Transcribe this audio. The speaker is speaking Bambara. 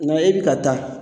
Nka e bi ka taa